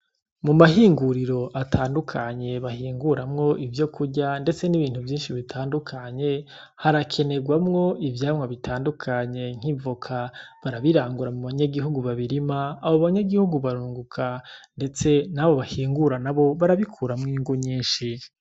Mu mahinguriro atandukanye bahinguramwo ivyokurya ndetse n'ibintu vyinshi bitandukanye harakenegwamwo ivyamwa bitandukanye nk'ivoka barabirangura mu banyagihugu babirima abo banyagihugu barunguka ndetse nabo bahingura nabo barabikuramwo inyungu nyinshi.